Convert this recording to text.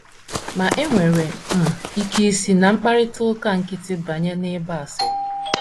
Ma, e nwere um ike isi ná mkparịta ụka nkịtị banye n’ịgba asịrị.